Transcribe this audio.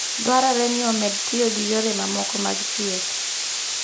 Dwarore ni omed tiyo gi yore mamoko mag thieth.